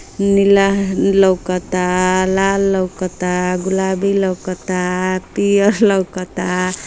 नीलाह लउकता लाल लउकता गुलाबी लउकता पियर लउकता।